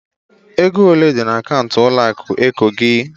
Ego ole di na akaụntụ ụlọ akụ eko gị?